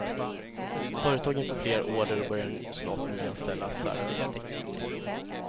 Företagen får fler order och börjar snart nyanställa, särskilt tekniker.